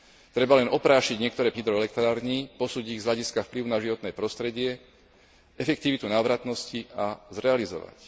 Treba len oprášiť niektoré plány hydroelektrární, posúdiť ich z hľadiska vplyvu na životné prostredie, efektivitu návratnosti a zrealizovať.